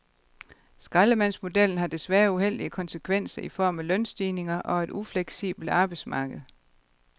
Skraldemandsmodellen har desværre uheldige konsekvenser i form af lønstigninger og et ufleksibelt arbejdsmarked.